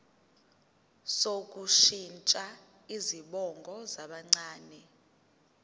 sokushintsha izibongo zabancane